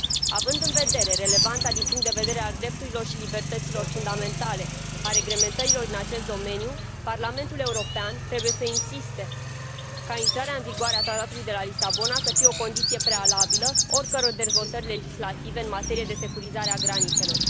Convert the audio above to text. Având în vedere relevanța din punct de vedere al drepturilor și libertăților fundamentale a reglementărilor din acest domeniu, Parlamentul European trebuie să insiste ca intrarea în vigoare a Tratatului de Lisabona să fie o condiție prealabilă oricăror dezvoltări legislative în materie de securizare a granițelor.